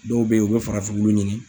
Dɔw bɛ yen, u bɛ farafinkolo ɲini.